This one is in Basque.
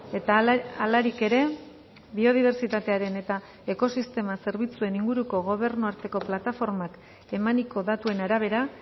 eta halarik ere biodibertsitatearen eta ekosistema zerbitzuen inguruko gobernu arteko plataformak emaniko datuen arabera